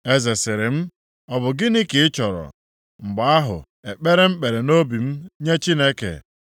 Eze sịrị m, “Ọ bụ gịnị ka ị chọrọ?” Mgbe ahụ ekpere m ekpere nʼobi m nye Chineke,